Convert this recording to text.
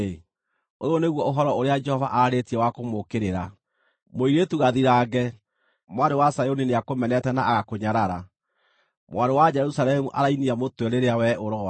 ũyũ nĩguo ũhoro ũrĩa Jehova aarĩtie wa kũmũũkĩrĩra: “Mũirĩtu Gathirange, Mwarĩ wa Zayuni nĩakũmenete na agakũnyarara. Mwarĩ wa Jerusalemu arainia mũtwe rĩrĩa wee ũroora.